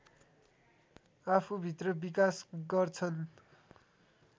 आफूभित्र विकास गर्छन्